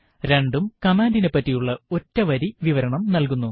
രണ്ടും കമാൻഡിനെപ്പറ്റിയുള്ള ഒറ്റ വരി വിവരണം നൽകുന്നു